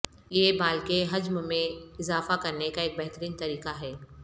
یہ بال کے حجم میں اضافہ کرنے کا ایک بہترین طریقہ ہے